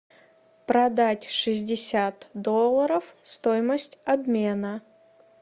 продать шестьдесят долларов стоимость обмена